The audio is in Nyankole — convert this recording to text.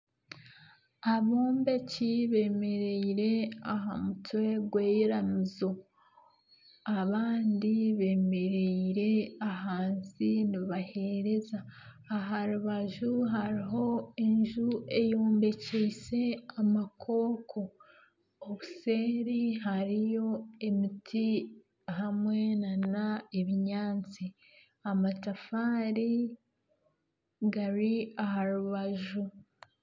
Abombeki beemereire aha mutwe gw'eiramizo abandi beemereire ahansi nibaheereza aha rubaju hariho enju eyombekise amakoko obuseeri hariyo emiti hamwe nana obunyaatsi amatafaari gari aha rubaju